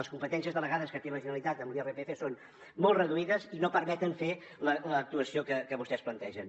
les competències delegades que té la generalitat amb l’irpf són molt reduïdes i no permeten fer l’actuació que vostès plantegen